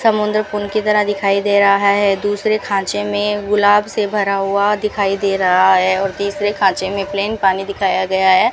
समुंदर पुन की तरह दिखाई दे रहा है दूसरे खांचे में गुलाब से भरा हुआ दिखाई दे रहा है और तीसरे खांचे में प्लेन पानी दिखाया गया है।